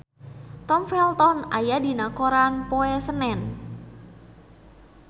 Tom Felton aya dina koran poe Senen